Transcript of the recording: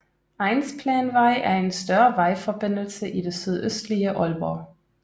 Egnsplanvej er en større vejforbindelse i det sydøstlige Aalborg